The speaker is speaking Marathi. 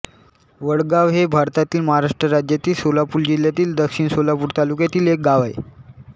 वडगाव हे भारतातील महाराष्ट्र राज्यातील सोलापूर जिल्ह्यातील दक्षिण सोलापूर तालुक्यातील एक गाव आहे